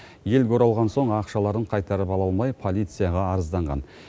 елге оралған соң ақшаларын қайтарып ала алмай полицияға арызданған